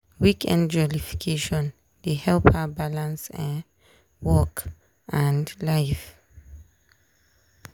weekend jollification dey help her balance um work and life.